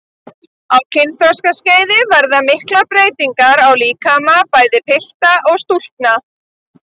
Á kynþroskaskeiði verða miklar breytingar á líkömum bæði pilta og stúlkna.